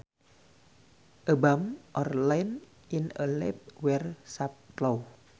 A bump or line in a leaf where sap flows